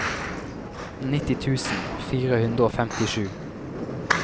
nitti tusen fire hundre og femtisju